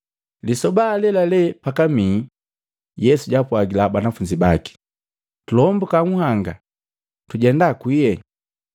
Lisoba alelale pakamii, Yesu jaapwagila banafunzi baki, “Tulombuka nhanga, tujenda kwiie.”